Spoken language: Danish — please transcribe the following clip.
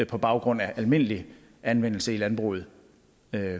på baggrund af almindelig anvendelse i landbruget af